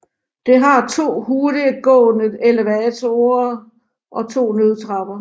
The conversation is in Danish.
Det har to hurtiggående elevatorer og 2 nødtrapper